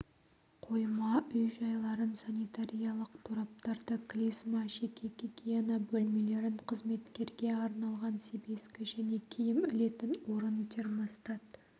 қойма үй-жайларын санитариялық тораптарды клизма жеке гигиена бөлмелерін қызметкерге арналған себезгі және киім ілетін орын термостат